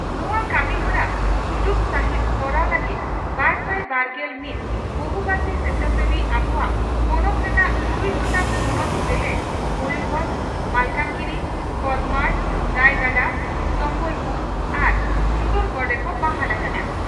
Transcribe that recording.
ᱱᱚᱣᱟ ᱠᱟᱹᱢᱤᱦᱚᱨᱟ ᱥᱩᱡᱩᱛ ᱥᱟᱺᱦᱤᱡ ᱛᱚᱨᱟᱣ ᱞᱟᱹᱜᱤᱫ ᱵᱟᱨᱥᱟᱭ ᱵᱟᱨᱜᱮᱞ ᱢᱤᱛ ᱵᱚᱦᱩᱵᱷᱟᱥᱤ ᱥᱮᱪᱷᱟᱥᱮᱵᱤ ᱟᱵᱚᱣᱟᱜ ᱯᱚᱱᱚᱛ ᱨᱮᱱᱟᱜ ᱛᱩᱨᱩᱭ ᱜᱚᱴᱟᱝ ᱦᱚᱱᱚᱛ ᱡᱮᱞᱮᱠ ᱺᱼ ᱢᱚᱭᱩᱨᱵᱷᱚᱸᱡᱽ, ᱢᱟᱞᱠᱟᱱᱜᱤᱨᱤ, ᱠᱚᱸᱫᱷᱚᱢᱟᱲ, ᱨᱟᱭᱜᱚᱰᱟ, ᱥᱚᱢᱵᱚᱞᱯᱩᱨ ᱟᱨ ᱥᱩᱱᱫᱚᱨᱜᱚᱰ ᱨᱮᱠᱚ ᱵᱟᱦᱟᱞ ᱟᱠᱟᱱᱟ ᱾